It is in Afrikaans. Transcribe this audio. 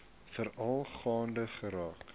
veral gaande geraak